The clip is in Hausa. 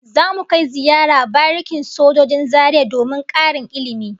Zamu kai ziyara barikin sojojin Zaria domin karin ilmi